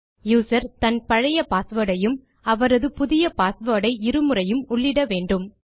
user தன் பழைய password ஐயும் அவரது புதிய பாஸ்வேர்ட் ஐ இரு முறையும் உள்ளிட வேண்டும்